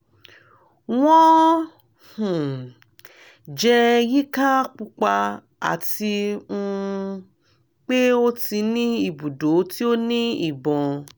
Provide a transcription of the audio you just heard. wọn um jẹ yika pupa ati um pe o ti ni ibudo ti o ni ibọn